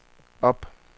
op